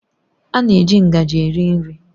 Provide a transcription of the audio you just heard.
A na-eji ngaji eri nri